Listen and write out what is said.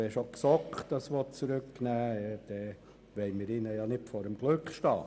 Wenn auch die GSoK diesen Artikel zurücknehmen will, wollen wir ihr nicht vor dem Glück stehen.